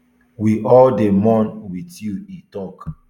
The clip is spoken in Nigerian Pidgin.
we all dey mourn wit you e tok